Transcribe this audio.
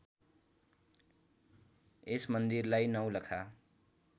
यस मन्दिरलाई नौलखा